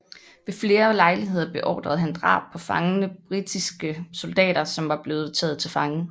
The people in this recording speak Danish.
Ved flere lejligheder beordrede han drab på fangne britiske soldater som var blevet taget til fange